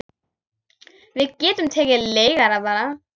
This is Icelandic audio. Við getum tekið leigara bara.